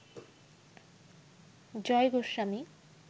Joy Goswami